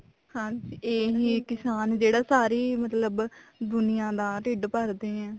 ਹਾਂਜੀ ਇਹੀ ਆ ਕਿਸਾਨ ਜਿਹੜਾ ਸਾਰੀ ਮਤਲਬ ਦੁਨੀਆ ਦਾ ਢਿੱਡ ਭਰਦੇ ਆ